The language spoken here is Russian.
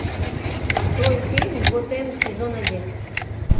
открой фильм готэм сезон один